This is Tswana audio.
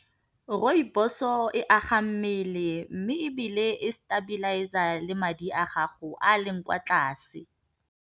Rrooibos-o e aga mmele mme ebile e stabalize-a le madi a gago a leng kwa tlase.